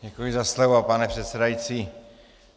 Děkuji za slovo, pane předsedající.